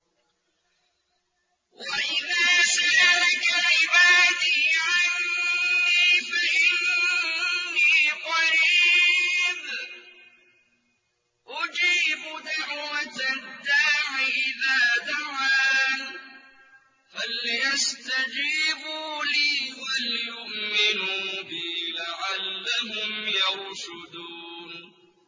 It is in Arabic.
وَإِذَا سَأَلَكَ عِبَادِي عَنِّي فَإِنِّي قَرِيبٌ ۖ أُجِيبُ دَعْوَةَ الدَّاعِ إِذَا دَعَانِ ۖ فَلْيَسْتَجِيبُوا لِي وَلْيُؤْمِنُوا بِي لَعَلَّهُمْ يَرْشُدُونَ